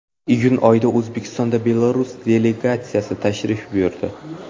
Iyun oyida O‘zbekistonga Belarus delegatsiyasi tashrif buyurdi.